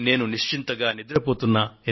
నేను ప్రశాంతంగా నిద్రపోతున్నా